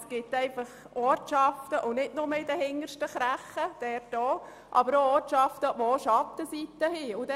Es gibt Ortschaften – und zwar nicht nur irgendwo zuhinterst in einer Randregion –, die sich auf der Schattenseite befinden.